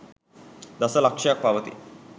දස ලක්ෂයක් පවතියි.